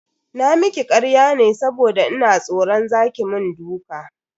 Na miki karya ne saboda ina tsoran za ki mun duka